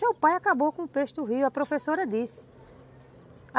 Seu pai acabou com o peixe do rio, a professora disse.